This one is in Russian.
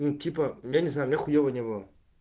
ну типа я не знаю мне хуёво не было